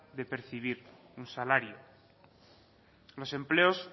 de percibir un salario los empleos